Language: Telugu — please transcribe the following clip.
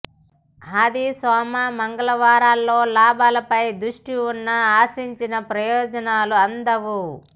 ఆది సోమ మంగళవారాల్లో లాభాలపై దృష్టి ఉన్నా ఆశించిన ప్రయోజనాలు అందవు